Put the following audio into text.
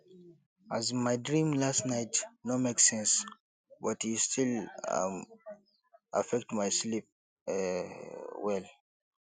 um my dream last night no make sense but e still um affect my sleep um well